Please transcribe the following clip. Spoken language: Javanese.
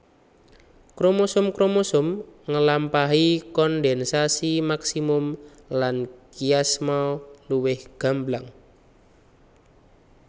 Kromosom kromosom ngelampahi kondensasi maksimum lan kiasma luwih gamblang